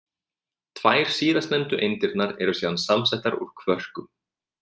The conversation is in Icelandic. Tvær síðastnefndu eindirnar eru síðan samsettar úr kvörkum.